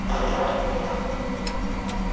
Við vorum komin í langa brekku